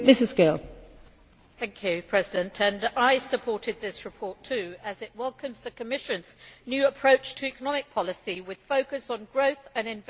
Madam President, I supported this report too as it welcomes the Commission's new approach to economic policy, with focus on growth and investment.